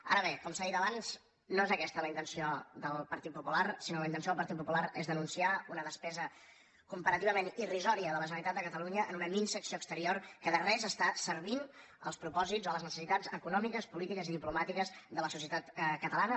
ara bé com s’ha dit abans no és aquesta la intenció del partit popular sinó que la intenció del partit popular és denunciar una despesa comparativament irrisòria de la generalitat de catalunya en una minsa acció exterior que de res serveix als propòsits o a les necessitats econòmiques polítiques i diplomàtiques de la societat catalana